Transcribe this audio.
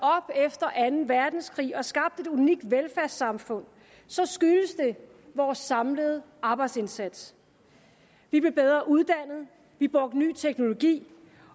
efter anden verdenskrig og skabte et unikt velfærdssamfund så skyldes det vores samlede arbejdsindsats vi blev bedre uddannet vi brugte ny teknologi